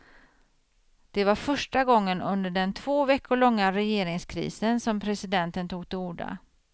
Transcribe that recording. Det var första gången under den två veckor långa regeringskrisen som presidenten tog till orda.